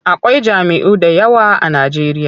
Akwai jam'iyyu da yawa a Najeriya.